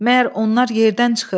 Məyər onlar yerdən çıxır?